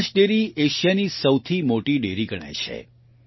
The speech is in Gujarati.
બનાસ ડેરી એશિયાની સૌથી મોટી ડેરી ગણાય છે